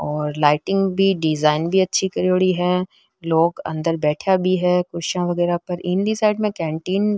और लाइटिंग भी डिजाइन भी अच्छी करेड़ी है लोग अंदर बैठा भी है कुर्सियां वगैरा पर इली साइड में कैंटीन --